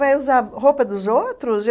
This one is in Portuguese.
Vai usar roupa dos outros?